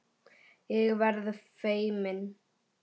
Ég verð feimin.